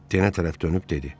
Denə tərəf dönüb dedi: